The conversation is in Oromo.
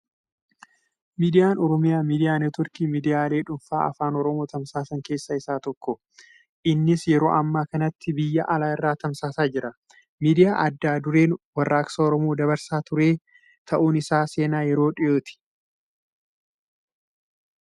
Miidiyaan Oromiyaa Miidiyaa Neetworkii miidiyaalee dhuunfaa afaan Oromoo tamsaasan keessaa isa tokko. Innis yeroo ammaa kanatti biyya alaa irraa tamsaasaa jira. Miidiyaa adda dureen warraaqsa Oromoo dabarsaa ture ta'uun isaa seenaa yeroo dhiyooti.